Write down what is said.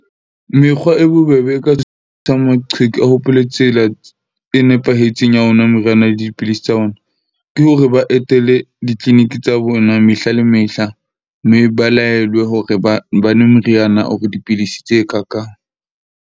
Mekgwa e bobebe e ka sitisang maqheku, a hopole tsela e nepahetseng ya ho nwa moriana le dipidisi tsa bona, ke hore ba etele di-clinic tsa bona, mehla le mehla. Mme ba laelwe hore ba nwe meriana or dipidisi tse ka kang.